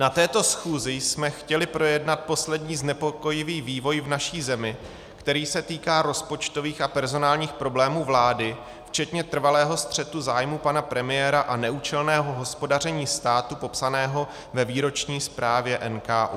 Na této schůzi jsme chtěli projednat poslední znepokojivý vývoj v naší zemi, který se týká rozpočtových a personálních problémů vlády, včetně trvalého střetu zájmů pana premiéra a neúčelného hospodaření státu popsaného ve výroční zprávě NKÚ.